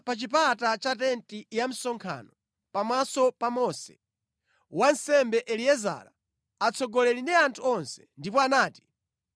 pa chipata cha tenti ya msonkhano pamaso pa Mose, wansembe Eliezara, atsogoleri ndi anthu onse, ndipo anati,